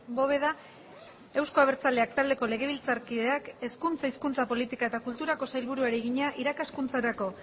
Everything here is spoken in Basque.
bóveda euzko abertzaleak taldeko legebiltzarkideak hezkuntza hizkuntza politika eta kulturako sailburuari egina irakaskuntzarako